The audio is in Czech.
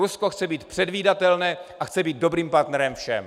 Rusko chce být předvídatelné a chce být dobrým partnerem všem.